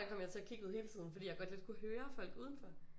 Kom jeg til at kigge ud hele tiden fordi jeg godt lidt kunne høre folk udenfor